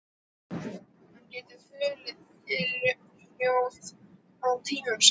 Hann getur þulið ljóð tímunum saman.